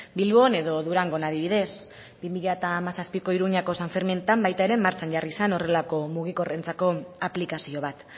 bilbon edo durangon adibidez bi mila hamazazpiko iruñako san ferminetan ere martxan jarri zen horrelako mugikorrentzako aplikazio bat